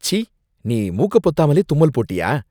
ச்சீ! நீ மூக்க பொத்தாமலே தும்மல் போட்டியா?